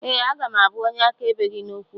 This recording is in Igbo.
Ee, aga m abụ onye akaebe gị n’okwu a